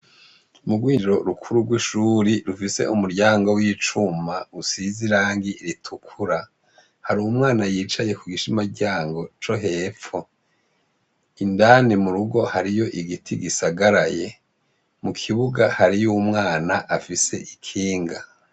Mu Rwinjiro rukuru rw'ishuri rufise umuryango w'icuma, usize irangi ritukura, har'umwana yicaye ku gishima ryango co hepfo .Indani mu rugo ,hariyo igiti gisagaraye ,mu kibuga hariy'umwana afise ikinga.